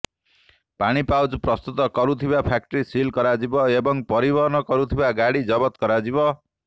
ପାଣି ପାଉଚ୍ ପ୍ରସ୍ତୁତ କରୁଥିବା ଫ୍ୟାକ୍ଟି ସିଲ୍ କରାଯିବ ଏବଂ ପରିବହନ କରୁଥିବା ଗାଡି ଜବତ କରାଯିବ